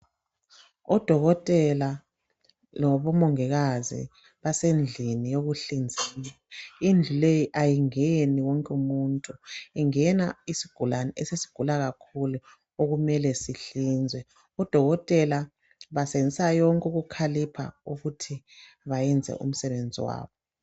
Odokotela labomongikazi basendlini yokuhlinzela, indlu leyi ayingeni wonke umuntu ingena isigulane esesigula kakhulu okumele sihlinzwe. Odokotela basebenzisa konke ukukhalipha ukuthi bayenze umsebenzi wabo.